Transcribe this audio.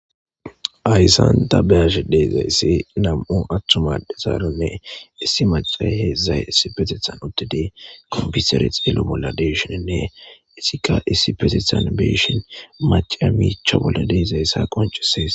Haysan ta be'ashsha dizzayisi nam'u atumma addezara issi mac'asera hedzdzay issippeththethan uththidi comipitere xello bolla gidishinne izikka issippe be'ishshen mac'iya michcha bolla dizzayisa qonc'ises.